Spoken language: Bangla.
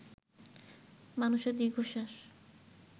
মানুষের দীর্ঘশ্বাস